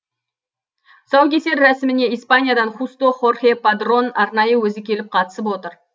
тұсаукесер рәсіміне испаниядан хусто хорхе падрон арнайы өзі келіп қатысып отыр